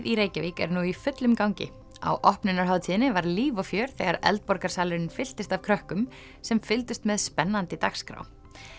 í Reykjavík er nú í fullum gangi á opnunarhátíðinni var líf og fjör þegar fylltist af krökkum sem fylgdust með spennandi dagskrá